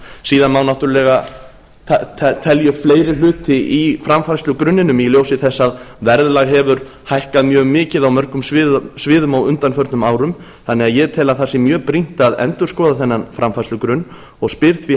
síðan má náttúrlega telja upp fleiri hluti í framfærslugrunninum í ljósi þess að verðlag hefur hækkað mjög mikið á mörgum sviðum á undanförnum árum þannig að ég tel að það sé mjög brýnt að endurskoða þennan framfærslugrunn og spyr því